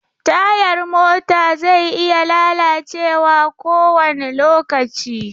Tayar mota zai iya lalacewa kowane lokaci.